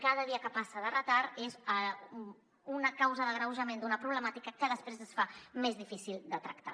cada dia que passa de retard és una causa d’agreujament d’una problemàtica que després es fa més difícil de tractar